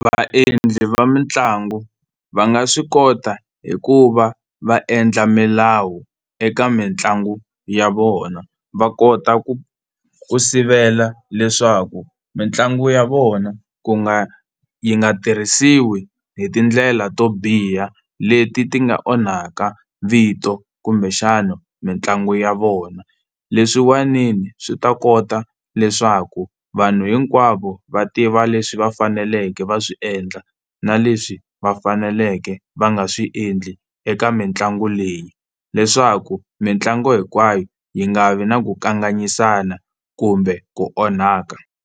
Vaendli va mitlangu va nga swi kota hi ku va va endla milawu eka mitlangu ya vona va kota ku ku sivela leswaku mitlangu ya vona ku nga yi nga tirhisiwi hi tindlela to biha leti ti nga onhaka vito kumbexana mitlangu ya vona. Leswiwanini swi ta kota leswaku vanhu hinkwavo va tiva leswi va faneleke va swi endla na leswi va faneleke va nga swi endli eka mitlangu leyi, leswaku mitlangu hinkwayo yi nga vi na ku kanganyisana kumbe ku onhaka.